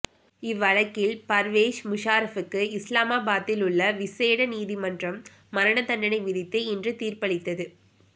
இவ்வழக்கில் பர்வேஸ் முஷாரப்புக்கு இஸ்லாமாபாத்திலுள்ள விசேட நீதிமன்றம் மரண தண்டனை விதித்து இன்று தீர்ப்பளித்தது